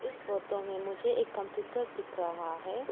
इस फोटो में मुझे एक कंप्यूटर दिख रहा है।